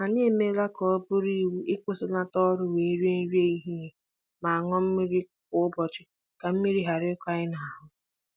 Anyị emeela ka ọ bụrụ iwu ịkwụsịlata ọrụ wee rie nri ehihie ma ṅụọ mmiri kwa ụbọchị ka mmiri ghara ịkọ anyị n'ahụ